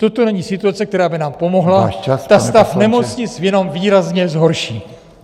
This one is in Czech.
Toto není situace, která by nám pomohla, ta stav nemocnic jenom výrazně zhorší!